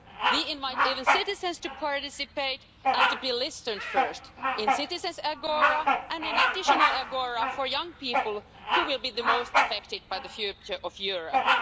We even invite citizens to participate and to be listened to, firstly in a citizens' agora and in an additional agora for young people, who will be the most affected by the future of Europe.